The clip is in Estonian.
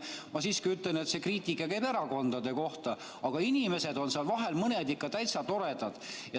Ma siiski ütlen, et see kriitika käib erakondade kohta, aga mõned inimesed on seal vahel ikka täitsa toredad.